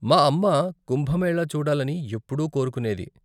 మా అమ్మ కుంభమేళా చూడాలని ఎప్పుడూ కోరుకునేది.